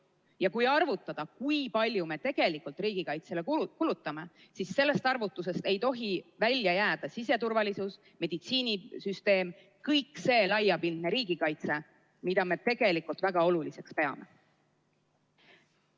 Ja kui arvutada, kui palju me tegelikult riigikaitsele kulutame, siis sellest arvutusest ei tohi välja jääda siseturvalisus, meditsiinisüsteem, kõik see laiapindne riigikaitse, mida me tegelikult väga oluliseks peame.